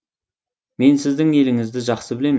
мен сіздің еліңізді жақсы білемін